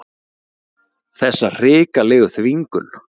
Þessa hrikalegu þvingun.